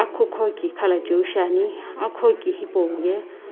akukuhouki khalachiu shiani akuhouki hipauye.